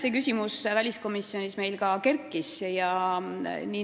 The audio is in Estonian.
See küsimus kerkis üles ka väliskomisjonis.